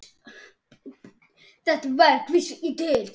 Þetta verk vísar til þess.